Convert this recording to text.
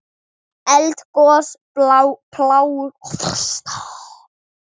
Eldgos, plágur og frosta